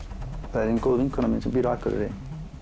það er ein góð vinkona mín sem býr á Akureyri